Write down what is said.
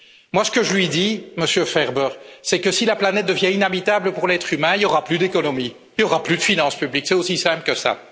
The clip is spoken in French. Moi, ce que je lui dis, Monsieur Ferber, c'est que si la planète devient inhabitable pour l'être humain, il n'y aura plus d'économie, il y aura plus de finances publiques, c'est aussi simple que ça.